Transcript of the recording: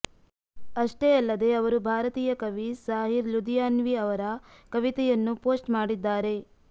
ಅಷ್ಟೇ ಅಲ್ಲದೆ ಅವರು ಭಾರತೀಯ ಕವಿ ಸಾಹಿರ್ ಲುದಿಯಾನ್ವಿ ಅವರ ಕವಿತೆಯನ್ನು ಫೋಸ್ಟ್ ಮಾಡಿದ್ದಾರೆ